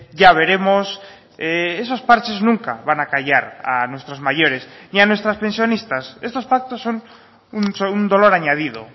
ya veremos esos parches nunca van a callar a nuestros mayores y a nuestras pensionistas estos pactos son un dolor añadido